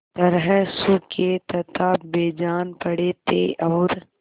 तरह सूखे तथा बेजान पड़े थे और